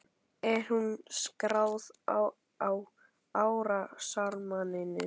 Er hún skráð á árásarmanninn?